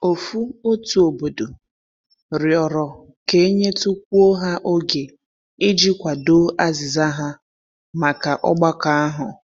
Ofu otu obodo rịọrọ ka e nyetukwuo ha oge i ji kwado azịza ha maka ọgbakọ ahu.